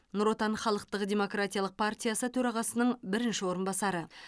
нұр отан халықтық демократиялық партиясы төрағасының бірінші орынбасары